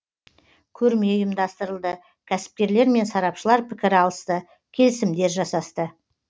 көрме ұйымдастырылды кәсіпкерлер мен сарапшылар пікір алысты келісімдер жасасты